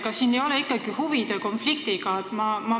Kas siin ei ole ikkagi tegu huvide konfliktiga?